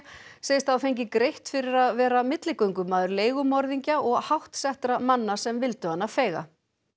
segist hafa fengið greitt fyrir að vera milligöngumaður leigumorðingja og hátt settra manna sem vildu hana feiga